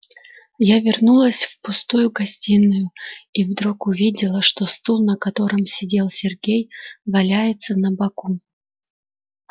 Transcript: я вернулась в пустую гостиную и вдруг увидела что стул на котором сидел сергей валяется на боку